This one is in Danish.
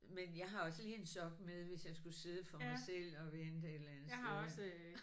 Men jeg har også lige en sok med hvis jeg skulle sidde for mig selv og vente et eller andet sted